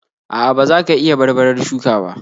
.A'a, ba za ka iya barbarar shuka ba.